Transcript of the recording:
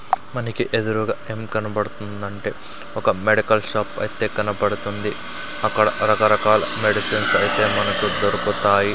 మనకి ఎదురుగా ఏం కనపడుతుందంటే ఒక మెడకల్ షాప్ అయితే కనపడుతుంది అక్కడ రకరకాల మెడిసిన్స్ అయితే మనకు దొరుకుతాయి.